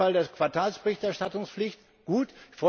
Wegfall der Quartalsberichterstattungspflicht gut.